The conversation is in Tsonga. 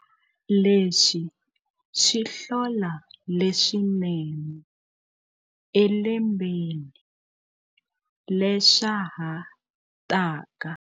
Leswi swi hlola leswinene elembeni leswa ha taka.